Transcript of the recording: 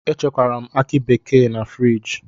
Echekwara m akị bekee a na friji.